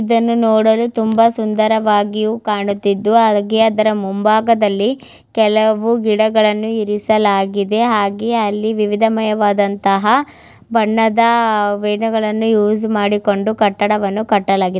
ಇದನ್ನು ನೋಡಲು ತುಂಬ ಸುಂದರವಾಗಿಯೂ ಕಾಣುತಿದ್ದು ಹಾಗೆ ಅದರ ಮುಂಭಾಗದಲ್ಲಿ ಕೆಲವು ಗಿಡಗಲ್ಲನು ಇಡಿಸಲಾಗಿದೆ ಹಾಗೆ ಅಲ್ಲಿ ವಿವಿಧಮಯವಾದಂತಹ ಬಣ್ಣದ ವೈರ್ ಗಳನ್ನೂ ಯೂಸ್ ಮಾಡಿಕೊಂಡು ಕಟ್ಟಡವನ್ನು ಕಟ್ಟಲಾಗಿದೆ.